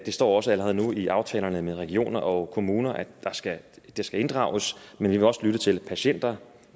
står også allerede nu i aftalerne med regioner og kommuner at de skal inddrages men vi vil også lytte til patienterne